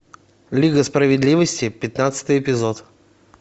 лига справедливости пятнадцатый эпизод